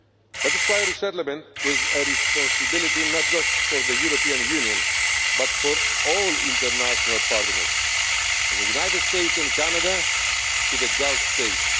This is why resettlement is a responsibility not just for the European Union but for all international partners, for the United States and Canada to the Gulf